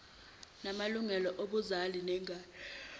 namalungelo obuzali ngengane